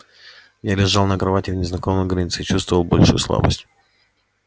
я лежал на кровати в незнакомой горнице и чувствовал большую слабость